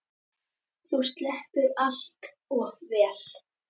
Þú sleppur allt of vel.